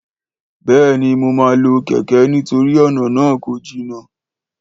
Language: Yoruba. Béèni mo ma lo kéké nítorí ọ̀nà náà kò jìnà